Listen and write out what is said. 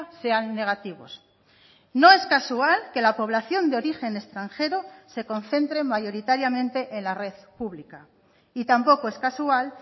sean negativos no es casual que la población de origen extranjero se concentren mayoritariamente en la red pública y tampoco es casual